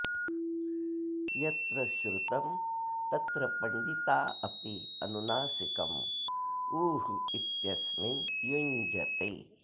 यत्र श्रुतं तत्र पण्डिता अपि अनुनासिकम् उः इत्यस्मिन् युञ्जते